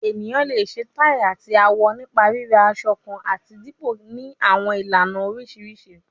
Eniyan le ṣe tai ati awọ nipa rira asọ kan ati dipọ ni awọn ilana oriṣiriṣi